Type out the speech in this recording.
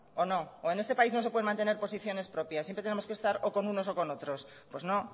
o no o en este país no se pueden mantener posiciones propias siempre tenemos que estar o con unos o con otros pues no